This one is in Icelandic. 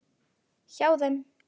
Hjá þeim.